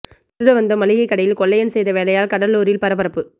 திருட வந்த மளிகை கடையில் கொள்ளையன் செய்த வேலையால் கடலூரில் பரபரப்பு